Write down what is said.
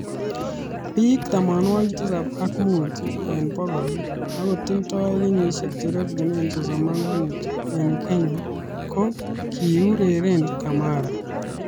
Biik tamanwokik tisab ak muut eng bokol akotindoi kenyisiek cherekunee sosom ak muut eng Kenya ,ko kikuureren Kamara.